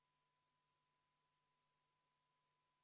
Muudatusettepaneku nr 16 on esitanud Eesti Konservatiivse Rahvaerakonna fraktsioon.